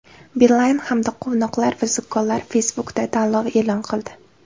Beeline hamda Quvnoqlar va zukkolar Facebook’da tanlov e’lon qildi.